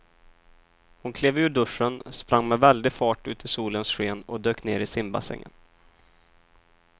Hon klev ur duschen, sprang med väldig fart ut i solens sken och dök ner i simbassängen.